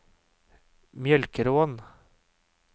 Mjølkeråen